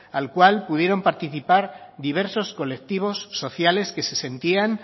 al cual pudieron participar diversos colectivos sociales que se sentían